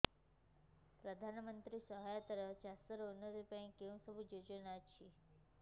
ପ୍ରଧାନମନ୍ତ୍ରୀ ସହାୟତା ରେ ଚାଷ ର ଉନ୍ନତି ପାଇଁ କେଉଁ ସବୁ ଯୋଜନା ଅଛି